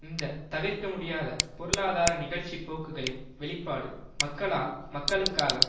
இந்த தவிர்க்கமுடியாத பொருளாதார நிகழ்ச்சி போக்குகளின் வெளிப்பாடு மக்களால் மக்களுக்காக